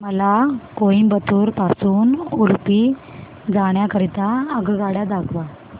मला कोइंबतूर पासून उडुपी जाण्या करीता आगगाड्या दाखवा